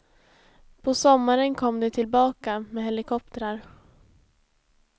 På sommaren kom de tillbaka, med helikoptrar.